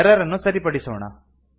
error ಅನ್ನು ಸರಿಪಡಿಸೋಣ